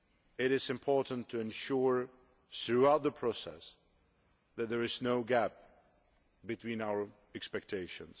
It is important to ensure throughout the process that there is no gap between our expectations.